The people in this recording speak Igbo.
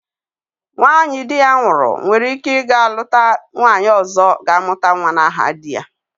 Nwanyị di ya nwụrụ nwere ike ga-lụta nwanyi ọzọ ga-amụta nwa n'aha di ya.